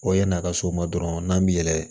yan'a ka s'o ma dɔrɔn n'an bi yɛlɛ